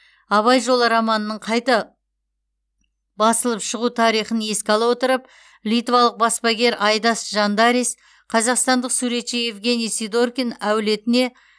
абай жолы романының қайта басылып шығу тарихын еске ала отырып литвалық баспагер айдас жандарис қазақстандық суретші евгений сидоркин әулетіне